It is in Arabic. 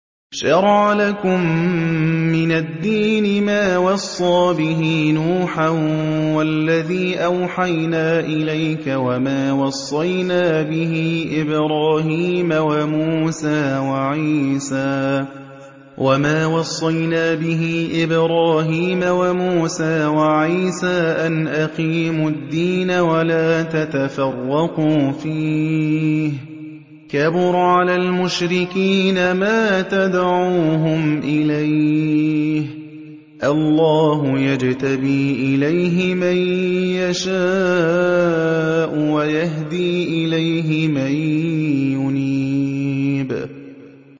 ۞ شَرَعَ لَكُم مِّنَ الدِّينِ مَا وَصَّىٰ بِهِ نُوحًا وَالَّذِي أَوْحَيْنَا إِلَيْكَ وَمَا وَصَّيْنَا بِهِ إِبْرَاهِيمَ وَمُوسَىٰ وَعِيسَىٰ ۖ أَنْ أَقِيمُوا الدِّينَ وَلَا تَتَفَرَّقُوا فِيهِ ۚ كَبُرَ عَلَى الْمُشْرِكِينَ مَا تَدْعُوهُمْ إِلَيْهِ ۚ اللَّهُ يَجْتَبِي إِلَيْهِ مَن يَشَاءُ وَيَهْدِي إِلَيْهِ مَن يُنِيبُ